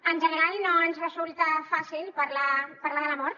en general no ens resulta fàcil parlar de la mort